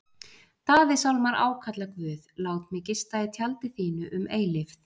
Davíðssálmar ákalla Guð: Lát mig gista í tjaldi þínu um eilífð.